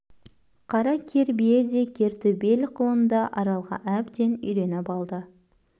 қара кер бие де кер төбел құлын да аралға әбден үйреніп адды